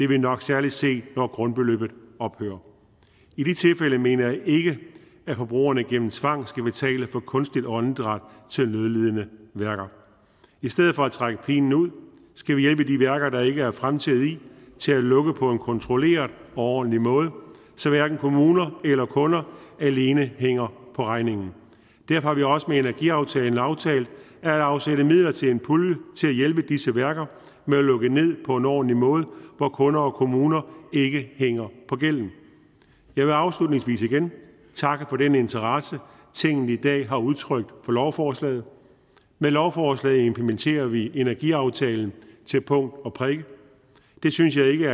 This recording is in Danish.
vi nok særlig se når grundbeløbet ophører i de tilfælde mener jeg ikke at forbrugerne gennem tvang skal betale for kunstigt åndedræt til nødlidende værker i stedet for at trække pinen ud skal vi hjælpe de værker der ikke er fremtid i til at lukke på en kontrolleret og ordentlig måde så hverken kommuner eller kunder alene hænger på regningen derfor har vi også med energiaftalen aftalt at afsætte midler til en pulje til at hjælpe disse værker med at lukke ned på en ordentlig måde hvor kunder og kommuner ikke hænger på gælden jeg vil afslutningsvis igen takke for den interesse tinget i dag har udtrykt for lovforslaget med lovforslaget implementerer vi energiaftalen til punkt og prikke det synes jeg ikke